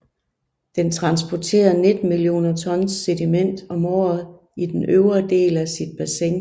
Den transporterer 19 millioner tons sediment om året i den øvre del af sit bassin